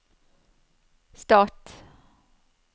stat